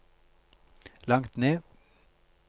langt ned